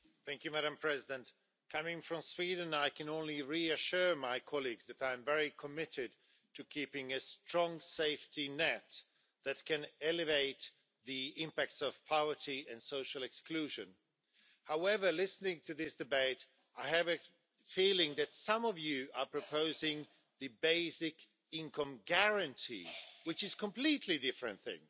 Madam President, coming from Sweden, I can only reassure my colleagues that I am very committed to keeping a strong safety net that can alleviate the impacts of poverty and social exclusion. However, listening to this debate, I have a feeling that some of you are proposing the basic income guarantee, which is a completely different thing.